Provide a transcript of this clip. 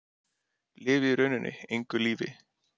Lifi í rauninni engu lífi.